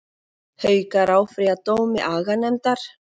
Haukar áfrýja dómi aganefndar